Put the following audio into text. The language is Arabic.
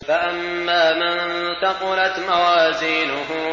فَأَمَّا مَن ثَقُلَتْ مَوَازِينُهُ